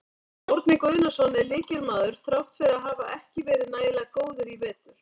Árni Guðnason er lykilmaður þrátt fyrir að hafa ekki verið nægilega góður í vetur.